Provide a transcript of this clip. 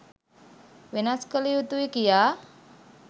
වෙනස් කළ යුතුයි කියා